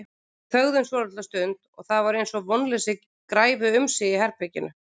Við þögðum svolitla stund og það var eins og vonleysi græfi um sig í herberginu.